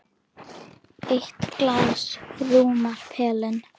Eitt glas rúmar pelinn.